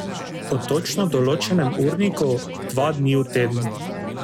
Po točno določenem urniku, dva dni v tednu.